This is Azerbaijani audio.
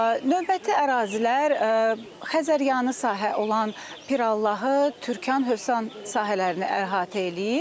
Növbəti ərazilər Xəzəryanı sahə olan Pirallahı, Türkan, Hövsan sahələrini əhatə eləyir.